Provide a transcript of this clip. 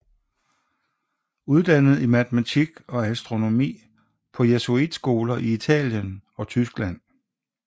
Uddannet i matematik og astronomi på jesuitskoler i Italien og Tyskland